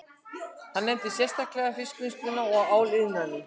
Hann nefndi sérstaklega fiskvinnsluna og áliðnaðinn